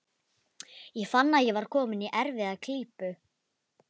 Ég fann að ég var kominn í erfiða klípu.